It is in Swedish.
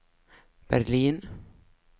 Berlin